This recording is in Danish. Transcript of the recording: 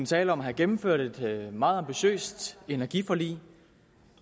tale om at have gennemført et meget ambitiøst energiforlig